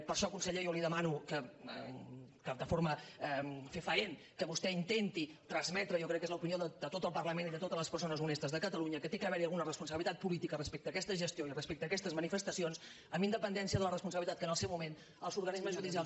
per això conseller jo li demano que de forma fefaent vostè intenti transmetre jo crec que és l’opinió de tot el parlament i de totes les persones honestes de catalunya que ha d’haver hi alguna responsabilitat política respecte a aquesta gestió i respecte a aquestes manifestacions amb independència de la responsabilitat que en el seu moment els organismes judicials